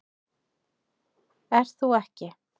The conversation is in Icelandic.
Ert þú ekki